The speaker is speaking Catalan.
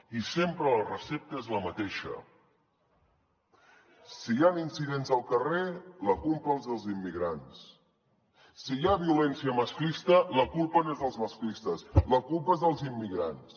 i sempre la recepta és la mateixa si hi han incidents al carrer la culpa els dels immigrants si hi ha violència masclista la culpa no és dels masclistes la culpa és dels immigrants